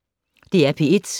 DR P1